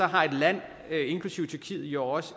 har et land inklusive tyrkiet jo også